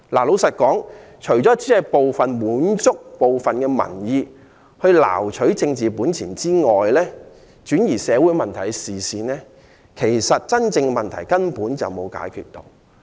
老實說，提出來除了滿足部分民意，撈取政治本錢，轉移社會問題的視線外，其實根本沒有解決真正的問題。